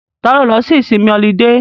Ta ló lọ sí ìsinmi ọlidé?